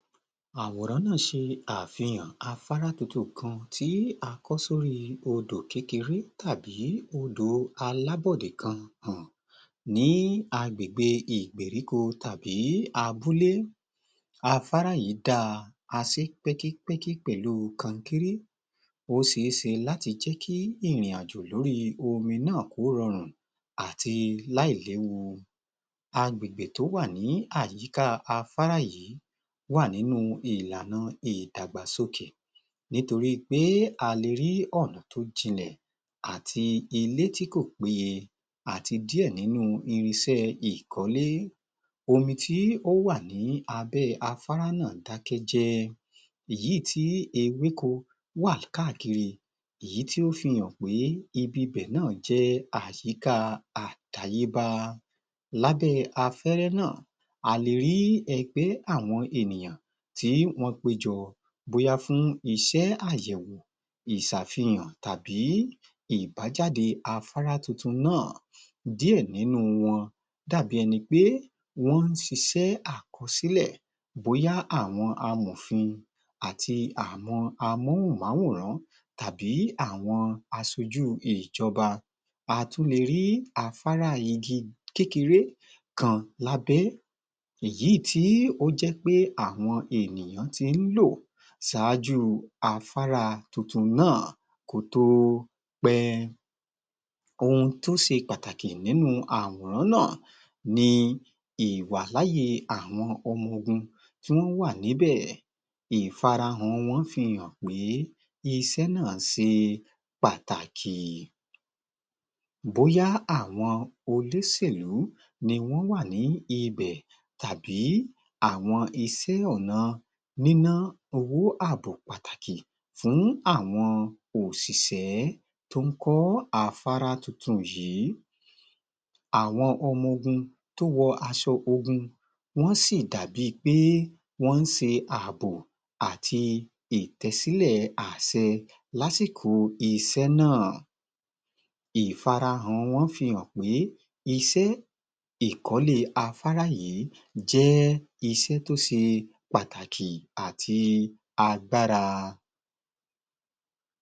Àwòrán náà ṣe àfihàn afárá tuntun kan tí a kọ́ sorí odò kékeré tàbí odò alábòdè kan hàn ní agbègbè ìgbèríko tàbí abúlé. Afárá yìí dáa, a sé pẹ́kípẹ́kí pẹ̀lú kọnkéré. Ó seé se láti jẹ́kí ìrìn-àjò lórí omi náà, kó rọrùn àti láì léwu. Àgbègbè tó wà ní àyíká afárá yìí wà nínú ìlànà ìdàgbàsókè nítorí pé a le rí ọ̀nà tó jinlẹ̀ àti ilé tí kò píye àti díẹ̀ nínú irinṣẹ́ ìkọ́lé. Omi tí ó wà ní abẹ́ afárá náà dákẹ́jẹ́ èyí tí ewéko wa káàkiri ìyí tí ó fi hàn pé ibi bẹ̀ náà jẹ́ àyíká àtayébá lábẹ́ afẹ́rẹ́ náà, a le rí ẹgbẹ́ àwọn ènìyàn tí wọ́n péjọ bóyá fún iṣẹ́ àyẹ̀wọ̀ ìsàfihàn tàbí ìbájáde afárá tuntun náà. Díẹ̀ nínú wọn dàbi ẹni pé wọ́n sisẹ́ àkọsílẹ̀ bóyá àwọn amòfin àti àwọn amóhùnmáwòrán tàbí àwọn asojú ìjọba. A tún le rí afárá igi kékeré kan lábẹ́ èyí tí ó jẹ́ pé àwọn ènìyàn tí ń lò sáájú afárá tuntun náà kó tó pẹ́. Ohun tó se pàtàkì nínú àwòrán náà ni ìwàláyè àwọn ọmọ-ogun tí wọ́n wà níbẹ̀. Ìfarahàn wọn fihàn pé isẹ́ náà ṣe pàtàkì. Bóyá àwọn olóṣèlú niwọ́n wà ní ibẹ̀ tàbí àwọn isẹ́ ọ̀nà níná owó àbò pàtàkì fún àwọn òṣìṣẹ́ tó ń kọ́ afárá tuntun yìí. Àwọn ọmọ-ogun tó wọ aṣọ ogun wọ́n sì dàbi pé wọ́n ṣe àbò àti ìtẹ́sílẹ̀ àṣẹ lásìkò isẹ́ náà. Ìfarahàn wọ́n fihàn pé iṣẹ́ ìkọ́lé afárá yìí jẹ́ isẹ́ tóse pàtàkì àti agbára.